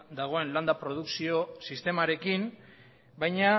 dagoen landa produkzio sistemarekin baina